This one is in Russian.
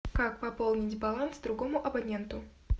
как пополнить баланс другому абоненту